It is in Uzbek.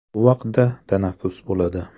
Bu vaqtda tanaffus bo‘ladi.